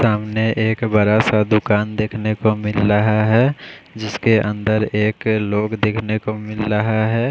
सामने एक बड़ा सा दुकान देखने को मिल रहा है जिस के अंदर एक लोग देखने को मिल रहा है।